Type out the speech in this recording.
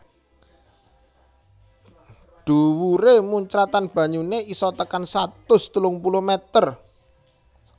Dhuwuré muncratan banyuné isa tekan satus telung puluh meter